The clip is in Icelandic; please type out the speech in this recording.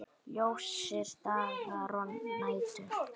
Ljósir dagar og nætur.